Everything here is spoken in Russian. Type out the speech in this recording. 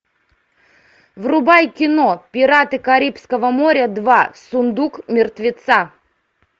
врубай кино пираты карибского моря два сундук мертвеца